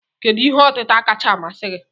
Kedu ihe otịta kachasị masị gi?